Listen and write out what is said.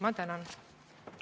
Ma tänan!